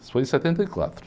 Isso foi em setenta em quatro.